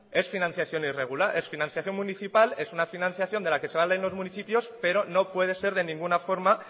es financiación irregular es financiación municipal es una financiación de la que se valen los municipios pero no puede ser de ninguna forma